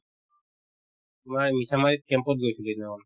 তোমাৰ এই গৈছিলো সেইদিনাখন